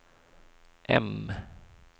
M